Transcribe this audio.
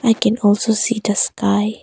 I can also see the sky.